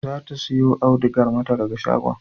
Za ta sayo audugar mata daga shagon